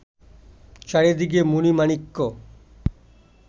চারিদিকে মণি-মাণিক্য